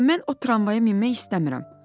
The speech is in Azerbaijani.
Baba, mən o tramvaya minmək istəmirəm.